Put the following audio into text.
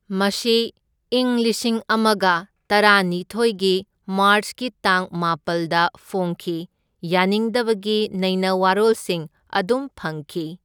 ꯃꯁꯤ ꯏꯪ ꯂꯤꯁꯤꯡ ꯑꯃꯒ ꯇꯔꯥꯅꯤꯊꯣꯢꯒꯤ ꯃꯥꯔꯆꯀꯤ ꯇꯥꯡ ꯃꯥꯄꯜꯗ ꯐꯣꯡꯈꯤ, ꯌꯥꯅꯤꯡꯗꯕꯒꯤ ꯅꯩꯅꯋꯥꯔꯣꯜꯁꯤꯡ ꯑꯗꯨꯝ ꯐꯪꯈꯤ꯫